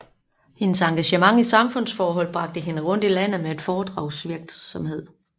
Hendes engagement i samfundsforhold bragte hende rundt i landet på foredragsvirksomhed